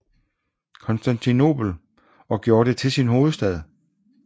Konstantinopel og gjorde det til sin hovedstad